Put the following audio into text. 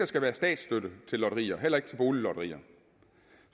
skal være statsstøtte til lotterier heller ikke til boliglotterier